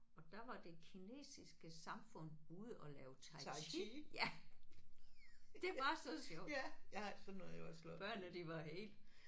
Og der var det kinesiske samfund ude og lave Tai Chi ja det var så sjovt. Børnene de var helt